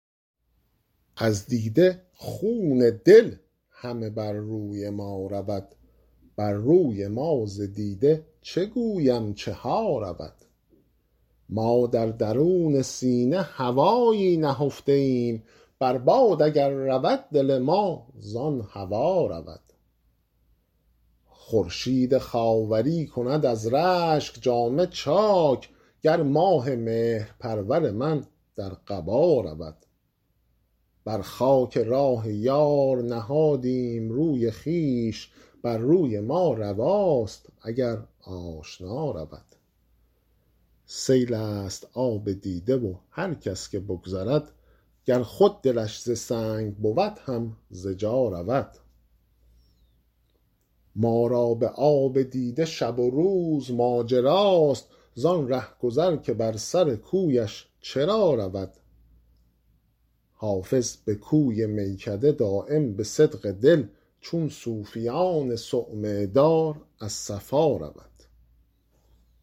از دیده خون دل همه بر روی ما رود بر روی ما ز دیده چه گویم چه ها رود ما در درون سینه هوایی نهفته ایم بر باد اگر رود دل ما زان هوا رود خورشید خاوری کند از رشک جامه چاک گر ماه مهرپرور من در قبا رود بر خاک راه یار نهادیم روی خویش بر روی ما رواست اگر آشنا رود سیل است آب دیده و هر کس که بگذرد گر خود دلش ز سنگ بود هم ز جا رود ما را به آب دیده شب و روز ماجراست زان رهگذر که بر سر کویش چرا رود حافظ به کوی میکده دایم به صدق دل چون صوفیان صومعه دار از صفا رود